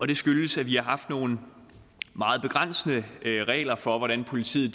det skyldes at vi har haft nogle meget begrænsende regler for hvordan politiet